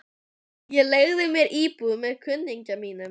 Ég leigði mér íbúð með kunningja mínum.